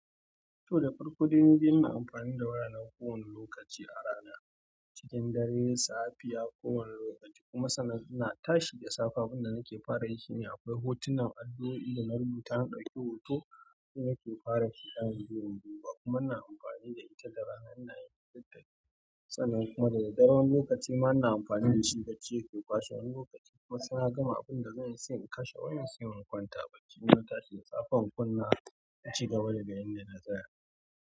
To, da farko dai nidai ina amfani da wayana kowane lokaci a rana, cikin dare, safiya, kowane lokaci. Kuma sannan ina tashi da safe abin da nake fara yi shine. Akwai hotunan addu'oi, dana rubuta na ɗauke hoto, shine ke fara kiɗan zo in duba. Kuma ina amfani da ita da rana ina yin littafi. Sana'ar kuma daga daren wani lokaci ma na amfani da shi bacci ya ke kwashe wani lokaci. Kuma sai na gama abin da zan yi sai in kashe wayan sai in kwanta. Baki na tashi da safe, kunna in ci gaba daga inda na tsaya.